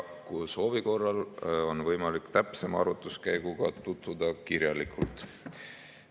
Soovi korral on võimalik täpsema arvutuskäiguga tutvuda ja saada see kirjalikult.